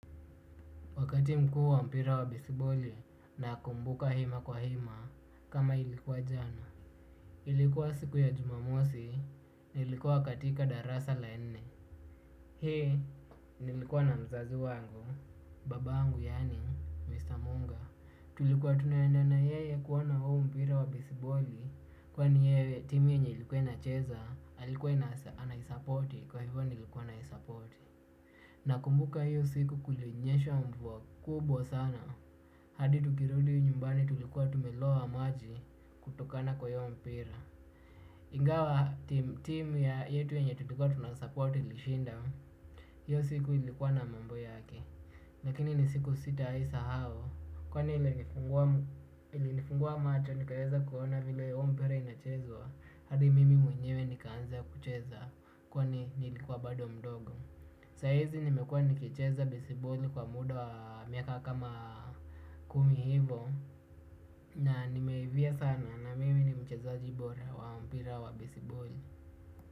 Wakati mkuu wa mpira wa bisiboli na kumbuka hima kwa hima kama ilikuwa jana. Ilikuwa siku ya jumamosi, nilikuwa katika darasa la nne. Hii, nilikuwa na mzazi wangu, baba angu yani, Mr. Munga. Tulikuwa tunaenda na yeye kuona huu mpira wa bisiboli kwa ni yeye timu yenye ilikuwa ina cheza, alikuwa ana isapoti kwa hivyo nilikuwa na isapoti. Na kumbuka hiyo siku kulinyesha mvua kubwa sana. Hadi tukirudi nyumbani tulikuwa tumeloa maji kutokana kwa hiyo mpira. Ingawa team ya yetu enye tutikuwa tunasupport ilishinda. Hiyo siku ilikuwa na mambo yake lakini ni siku sitaisahau. Kwani ilinifungua macho nikaeza kuona vile iyo mpira inachezwa. Hadi mimi mwenyewe nikaanza kucheza kwani nilikuwa bado mdogo. Saizi nimekua nikicheza bisiboli kwa muda wa miaka kama kumi hivo na nimeivia sana na mimi nimcheza jibora wa mpira wa bisiboli.